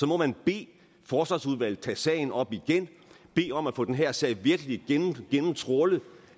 må man bede forsvarsudvalget tage sagen op igen bede om at få den her sag virkelig gennemtrawlet